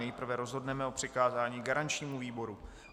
Nejprve rozhodneme o přikázání garančními výboru.